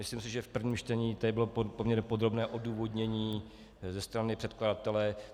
Myslím si, že v prvním čtení tady bylo poměrně podrobné odůvodnění ze strany předkladatele.